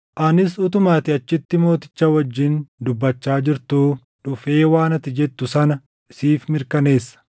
Anis utuma ati achitti mooticha wajjin dubbachaa jirtuu dhufee waan ati jettu sana siif mirkaneessa.”